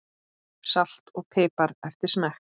Salt og pipar eftir smekk.